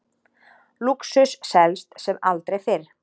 Lúxus selst sem aldrei fyrr